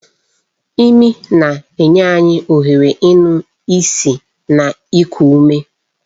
Imi na-enye anyị ohere ịnụ ísì na iku ume.